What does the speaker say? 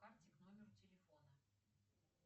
карте к номеру телефона